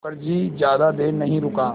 मुखर्जी ज़्यादा देर नहीं रुका